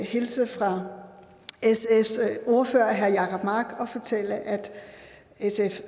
hilse fra sfs ordfører herre jacob mark og fortælle at sf